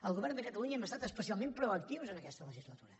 el govern de catalunya hem estat especialment proactius en aquesta legislatura